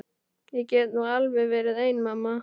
Ég get nú alveg verið ein mamma.